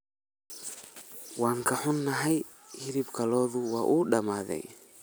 Waan ka xunahay, hilibkii lo'da wuu dhammaaday.